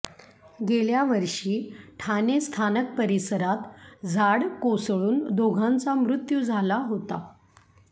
गेल्या वर्षी ठाणे स्थानक परिसरात झाड कोसळून दोघांचा मृत्यू झाला होता